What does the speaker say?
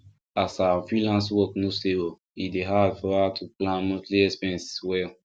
as her freelance work no stable e dey hard for her to plan monthly expenses well